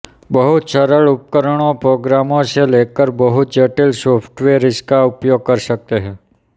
बहुत सरल उपकरणों प्रोग्राम से लेकर बहुत जटिल सॉफ्टवेयर इसका उपयोग कर सकते हैं